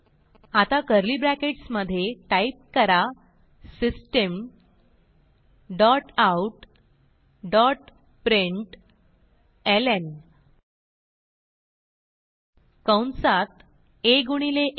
आता curly brackets मधे type करा system dot out dot println कंसात आ गुणिले आ